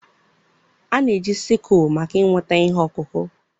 A na-eji Sikụlụ maka iweta ihe ọkụkụ.